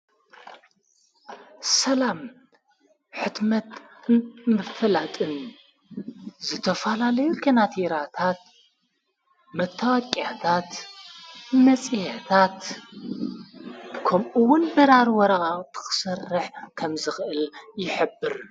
ሰላም ሕትመት ምፍላጥን ዘተፋላለዩ ከናት ይራታት መተዋቅኣታት መጺሀታት ከምኡውን ብራር ወረቓ ተኽሠርሕ ከም ዘኽእል ይኅብር።